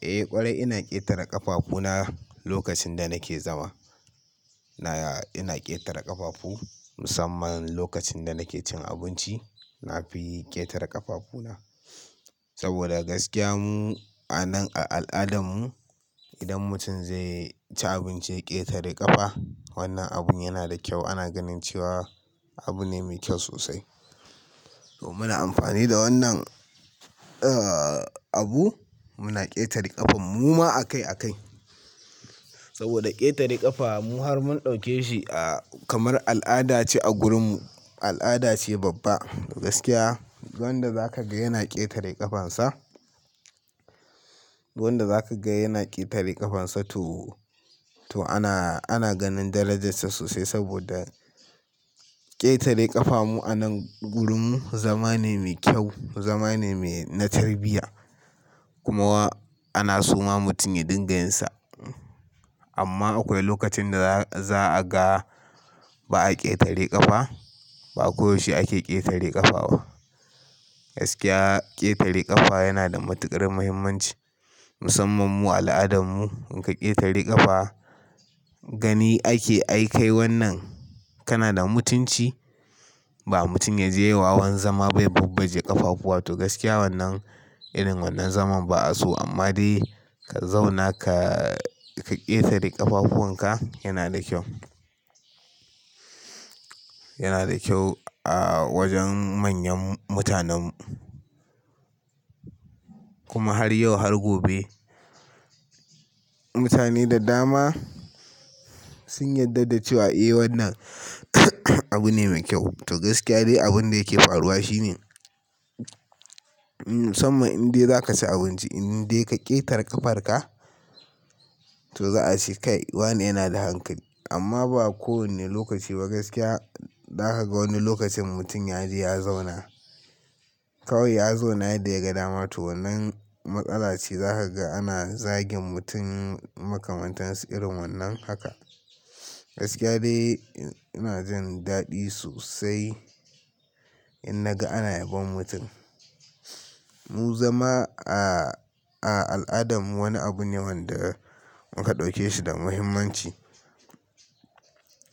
Eh ƙwarai ina ƙetare ƙafafu na lokacin da nake zama. Ina ƙetare ƙafafu musamman lokacin da nake cin abinci. Na fi ƙetare ƙafafu na saboda gaskiya mu a nan a al'adarmu idan mutum zai ci abinci ya ƙetare ƙafa wannan abun yana da kyau. Ana ganin cewa abu ne mai kyau sosai. To muna amfani da wannan abu muna ƙetare ƙafan mu ma akai akai saboda ƙetare ƙafa mu har mun ɗauke shi kamar al'ada ce a gurinmu. Al'ada ce babba gaskiya. Duk wanda zaka ga yana ƙetare ƙafan sa, duk wanda zaka ga yana ƙetare ƙafan sa to ana, ana ganin darajar sa sosai saboda ƙetare ƙafa mu a nan gurinmu zama ne mai kyau. Zama ne mai na tarbiyya kuma ana soma mutum ya dinga yinsa. Amma akwai lokacin da za'a ga ba a ƙetare ƙafa. Ba koyaushe ake ƙetare ƙafa ba. Gaskiya ƙetare ƙafa yana da matuƙar muhimmanci musamman mu a al'adarmu. In ka ƙetare ƙafa gani ake ai kai wannan kana da mutunci. Ba mutum ya je wawan zama bai babbaje ƙafafu ba to gaskiya wannan irin wannan zaman ba'a so. Amma dai ka zauna ka ƙetare ƙafafuwanka yana da kyau. Yana da kyau a wajen manyan mutanen mu. Kuma har yau har gobe mutane da dama sun yarda da cewa eh wannan abu ne mai kyau. To gaskiya dai abun da yake faruwa shine, musamman in dai za ka ci abinci in dai ka ƙetare ƙafar ka to za a ce kai. Wannan yana da hankali amma ba kowane lokaci ba. Gaskiya za ka ga wani lokacin mutum ya je ya zauna. Kawai ya zauna yadda ya ga dama to wannan matsala ce. Za ka ga ana zagin mutum makamantansu irin wannan haka. Gaskiya dai ina jin daɗi sosai in naga ana yabon mutum. Mu zama a al'adarmu wani abu ne wanda muka ɗauke shi da muhimmanci.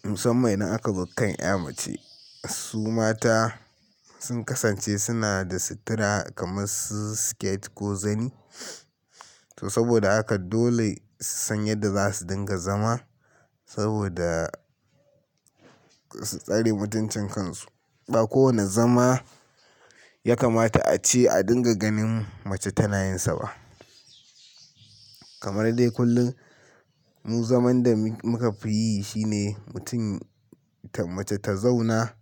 Musamman indan aka zo kan 'ya mace. Su mata sun kasance suna da sutura kamar su skate ko zani. To saboda haka dole su san yadda za su dinga zama saboda su tsare mutuncin kan su. Ba kowane zama ya kamata a ce a dinga ganin mace tana yin sa ba. Kamar dai kullum mu zaman da muka fi yi shine mutum mace ta zauna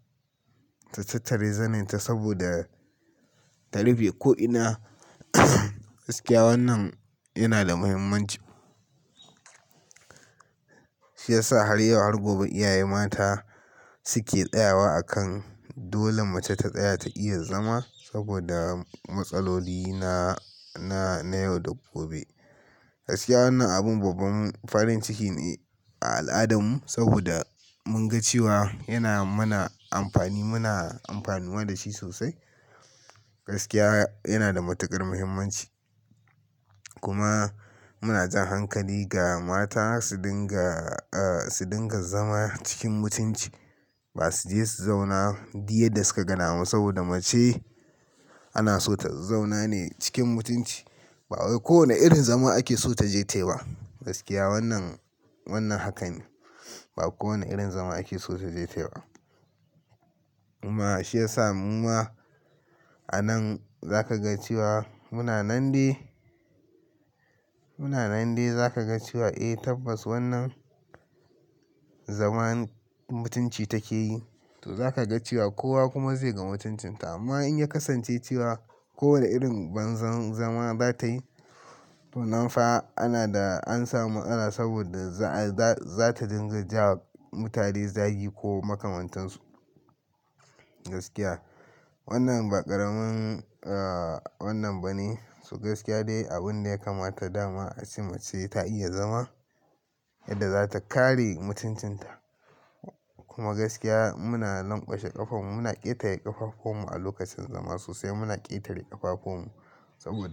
ta tattare zanin ta saboda ta rufe. Ko'ina gaskiya wannan yana da muhimmanci. Shi ya sa har yau har gobe iyaye mata suke tsaya wa akan dole mace ta tsaya ta iya zama saboda matsaloli na, na yau da gobe. Gaskiya wannan abin babban farin ciki ne a al'adarmu saboda mun ga cewa yana mana amfani. Muna amfanuwa da shi sosai. Gaskiya yana da matuƙar muhimmanci kuma muna jan hankali ga mata su dinga, su dinga zama cikin mutunci ba su je su zauna dukya da suka dama ba saboda mace ana so ta zauna ne cikin mutunci. Ba wai kowane irin zama ake so ta je ta yi ba. Gaskiya wannan, wannan hakan ne. Ba kowane irin zama ake so ta je ta yi ba. Kuma shi ya sa mu ma a nan za ka ga cewa muna nan dai, muna nan dai za ka ga cewa eh tabbas wannan zaman mutunci take yi. To za ka ga cewa kowa kuma zai ga mutuncin ta amma in ya kasance cewa kowane irin banza zama za ta yi to nan fa ana da an samu matsala saboda za ta dinga ja wa mutane zagi ko makamantansu. Gaskiya wannan ba ƙaramin wannan ba ne. To gaskiya dai abun da ya kamata dama a ci mace ta iya zama yadda za ta kare mutuncin ta. Kuma gaskiya muna lanƙwashe ƙafan mu. Muna ƙetare ƙafafun mu a lokacin zama sosai. Muna ƙetare ƙafafun mu saboda.